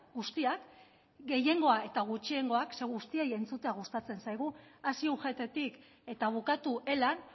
guztiak gehiengoa eta gutxiengoa zeren eta guztiei entzutea gustatzen zaigu hasi ugttik eta bukatu elan